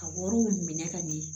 Ka wariw minɛ ka ɲɛ